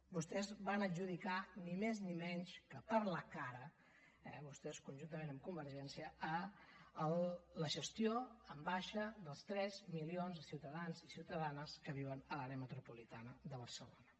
vostès van adjudicar ni més ni menys que per la cara eh vostès conjuntament amb convergència la gestió en baixa dels tres milions de ciutadans i ciutadanes que viuen a l’àrea metropolitana de barcelona